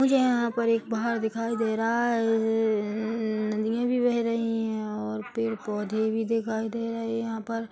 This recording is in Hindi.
मुझे यहाँ एक पहाड़ दिखाई दे रहा है -ह-ह नदियाँ भी बह रही है और पेड़- पौधे भी दिखाई दे रहे हैं यहाँ पर--